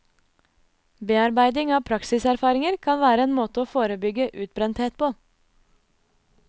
Bearbeiding av praksiserfaringer kan være en måte å forebygge utbrenthet på.